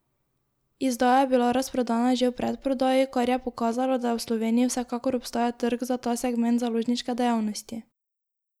Izdaja je bila razprodana že v predprodaji, kar je pokazalo, da v Sloveniji vsekakor obstaja trg za ta segment založniške dejavnosti.